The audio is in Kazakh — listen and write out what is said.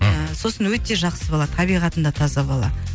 мхм сосын өте жақсы бала табиғатында таза бала